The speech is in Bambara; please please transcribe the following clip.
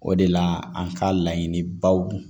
O de la an ka laɲiniba don